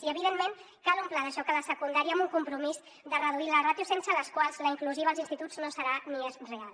i evidentment cal un pla de xoc a la secundària amb un compromís de reduir la ràtio sense la qual la inclusiva als instituts no serà ni és real